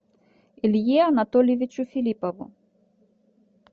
илье анатольевичу филиппову